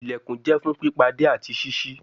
Ilẹkùn jẹ fun pipade ati ṣiṣi